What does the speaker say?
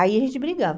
Aí a gente brigava.